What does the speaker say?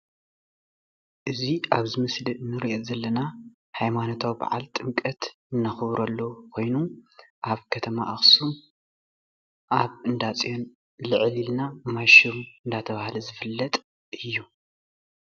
እዚ ኣብዚ ምስሊ እንሪኦ ዘለና ሃይማኖታዊ በዓል ጥምቀት እንኽብረሉ ኾይኑ ኣብ ኸተማ ኣኽሱም ኣብ እንዳፅዩን ልዕል ኢልና ማይሹም እናተብሃለ ዝፍለጥ እዩ።